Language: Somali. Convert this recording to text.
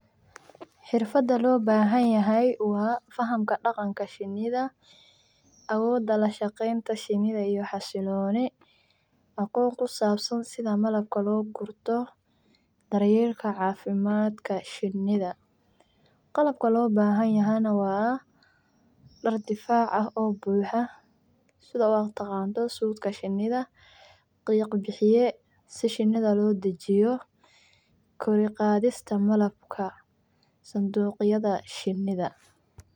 Xirfada lo bahan yahay waa fahamka daqanka shinidha awoda lashaqenta shini xaquq kusabsan malabka lo gurto daryelka cafimaadka shinidha, qalabka lo bahantahay waa dar difac ah sitha aad u taqano sudka shinidha qiq bixiye si shinidha lodajiyo kor uqadhista malabka ssanduqtaada shinidha.